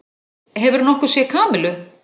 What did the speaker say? Hefurðu nokkuð séð Kamillu?